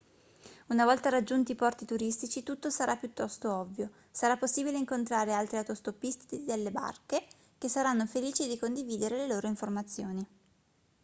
una volta raggiunti i porti turistici tutto sarà piuttosto ovvio sarà possibile incontrare altri autostoppisti delle barche che saranno felici di condividere le loro informazioni